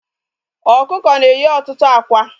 Ọkụkọ na-eyi ọtụtụ ákwá